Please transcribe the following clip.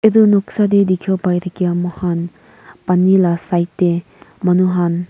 etu noksa te dikhi wo pari thakia moikhan pani laa side te manu khan.